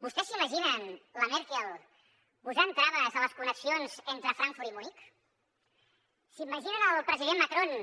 vostès s’imaginen la merkel posant traves a les connexions entre frankfurt i munic s’imaginen el president macron